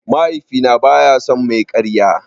Mahaifina baya son mai karya.